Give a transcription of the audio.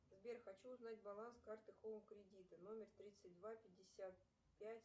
сбер хочу узнать баланс карты хоум кредита номер тридцать два пятьдесят пять